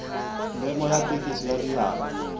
memo ya thekiso ya diabo